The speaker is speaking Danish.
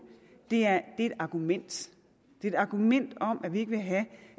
er et argument et argument om at vi ikke vil have